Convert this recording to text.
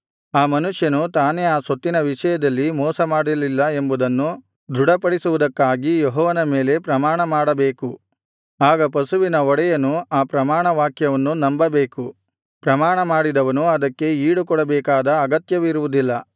ಆ ಮನುಷ್ಯನು ತಾನೇ ಆ ಸೊತ್ತಿನ ವಿಷಯದಲ್ಲಿ ಮೋಸಮಾಡಲಿಲ್ಲ ಎಂಬುದನ್ನು ದೃಢಪಡಿಸುವುದಕ್ಕಾಗಿ ಯೆಹೋವನ ಮೇಲೆ ಪ್ರಮಾಣಮಾಡಬೇಕು ಆಗ ಪಶುವಿನ ಒಡೆಯನು ಆ ಪ್ರಮಾಣವಾಕ್ಯವನ್ನು ನಂಬಬೇಕು ಪ್ರಮಾಣಮಾಡಿದವನು ಅದಕ್ಕೆ ಈಡುಕೊಡಬೇಕಾದ ಅಗತ್ಯವಿರುವುದಿಲ್ಲ